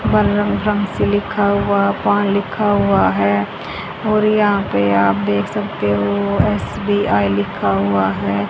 रंग से लिखा हुआ लिखा हुआ है और यहां पे आप देख सकते हो एस_बी_आई लिखा हुआ है।